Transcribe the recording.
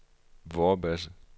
Vorbasse